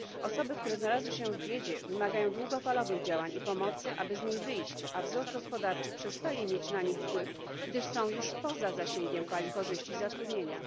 Osoby, które znalazły się w biedzie, wymagają długofalowych działań i pomocy, aby z niej wyjść, a wzrost gospodarczy przestaje mieć na nich wpływ, gdyż są już poza zasięgiem fali korzyści i zatrudnienia.